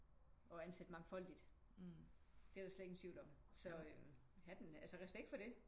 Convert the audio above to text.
Og ansætte mangfoldigt. Det er der slet ingen tvivl om så øh hatten altså respekt for det